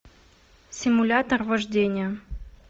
симулятор вождения